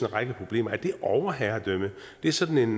række problemer er det overherredømme det er sådan